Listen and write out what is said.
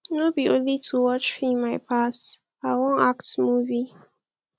no be only to watch film i pass i wan act movie